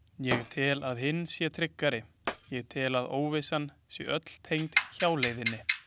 Ég tel að hin sé tryggari, ég tel að óvissan sé öll tengd hjáleiðinni.